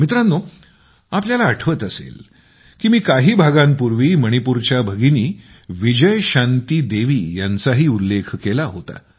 मित्रांनो आपल्याला आठवत असेल मी काही भागांपूर्वी मणिपूरच्या भगिनी विजयशांती देवी यांचाही उल्लेख केला होता